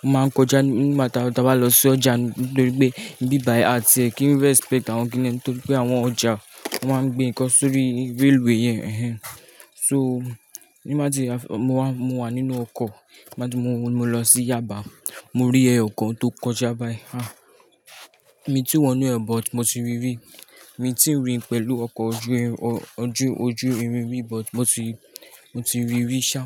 Wọ́n máa ń kọjá nígbà tí a bá lọ sí ọjà nítorí pé ibíbàyii àti ẹ kí n respect àwọn kìnnìún nítorí pé àwọn ọjà wọ́n máa ń gbin nǹkan sórí railway yẹn. Ẹ̀hẹn. So, nígbà tí mo wà nínú ọkọ̀, nígbà tí mo lọ sí Yaba, mo rí ẹ̀ẹ̀yọkan tó kọjá báyìí. À, mi tí wọ̀nú ẹ̀, but mo ti rí rí. Mi tí ń rìn pẹ̀lú ọkọ̀ ojú, ojú, ojú irin rí but mo ti, mo ti rí rí ṣá.